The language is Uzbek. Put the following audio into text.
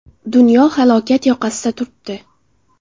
Dunyo – halokat yoqasida turibdi.